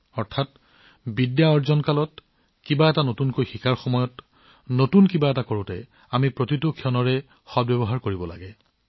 অৰ্থাৎ যেতিয়া আমি জ্ঞান আহৰণ কৰিব লাগে কিবা নতুন শিকিব লাগে আমি প্ৰতিটো মুহূৰ্ত ব্যৱহাৰ কৰা উচিত